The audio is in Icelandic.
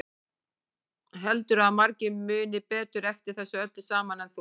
Heldurðu að margir muni betur eftir þessu öllu saman en þú?